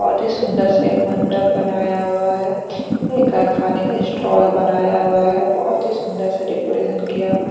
बहुत ही सुंदर सा एक मंडप बनाया हुआ है एक खाने का इशटॉल बनाया हुआ है बहोत ही सुंदर सा डेकोरेशन किया हुआ है।